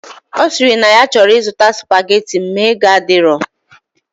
Osiri na ya choro izuta spaghetti ma ego adiro.